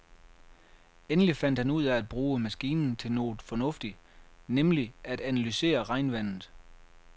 Endelig fandt han ud af at bruge maskinen til noget fornuftigt, nemlig at analysere regnvandet.